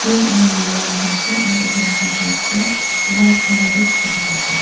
pink aro maroon te ase aro itu laga post toh white color te dikhi pai ase.